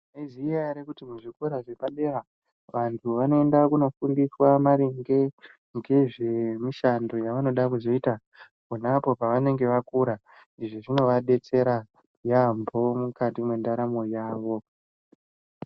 Maizviziya here kuti kuzvikora zvepadera vantu vanoenda kunofundiswa maringe ngezvemishando yavanoda kuzoita ponapo pavanenge vakura izvi zvinovabetsera yaamho mukati mendaramo yavo .